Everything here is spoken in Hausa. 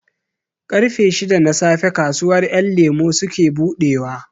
Ƙarfe shida na safe kasuwar ƴan lemo suke buɗewa